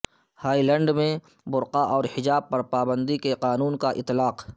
Holland میں برقع اور حجاب پر پابندی کے قانون کا اطلاق